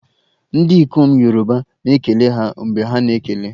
Ndị ikom Yoruba na-ekele ha mgbe ha na-ekele